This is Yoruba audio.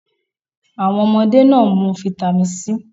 Awọn ọmọde naa n mu fáítámínì C